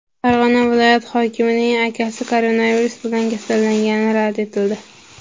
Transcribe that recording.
Farg‘ona viloyat hokimining akasi koronavirus bilan kasallangani rad etildi.